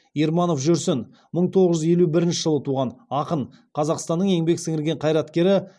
ерманов жүрсін мың тоғыз жүз елу бірінші жылы туған ақын қазақстанның еңбек сіңірген қайраткері